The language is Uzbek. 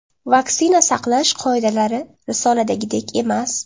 Vaksina saqlash qoidalari risoladagidek emas.